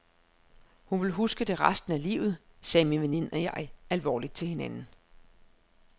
Hun vil huske det resten af livet, sagde min veninde og jeg alvorligt til hinanden.